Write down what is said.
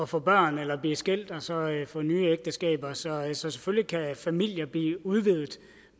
få børn eller blive skilt og så få nye ægteskaber så selvfølgelig kan familier blive udvidet